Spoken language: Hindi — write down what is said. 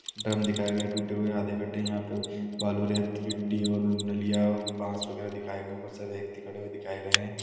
ड्रम दिखाए गए है टूटे हुए आधे कट्टे यहा पे हुए बालू रेट गिट्टी और नलिया और उबास वागेर दिखाए गए है बहुत सारे व्यक्ति खडे हुए दिखाये गये है।